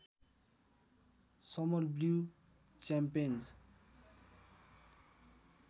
summer blue च्याम्पेन्ज